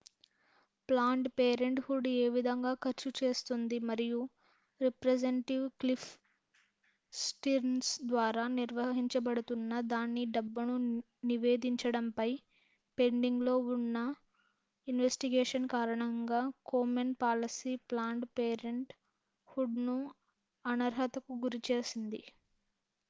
planned parenthood ఏవిధంగా ఖర్చు చేస్తుంది మరియు రిప్రజెంటివ్ క్లిఫ్ స్టిర్న్స్ ద్వారా నిర్వహించబడుతున్న దాని డబ్బును నివేదించడం పై పెండింగ్ లో ఉన్న ఇన్వెస్టిగేషన్ కారణంగా Komen policy planned parenthood ని అనర్హత కు గురిచేసింది